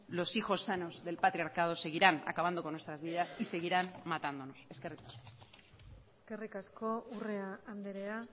los hijos sanos del patriarcado seguirán acabando con nuestras vidas y seguirán matándonos eskerrik asko eskerrik asko urrea andrea